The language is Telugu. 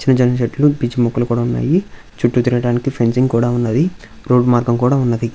సన్నజాజి చెట్లు పిచ్చి మొక్కలు కూడా ఉన్నాయి. చుట్టూ తిరగడానికి ఫెన్సింగ్ కూడా ఉన్నది. రోడ్డు మార్గం కూడా ఉన్నది.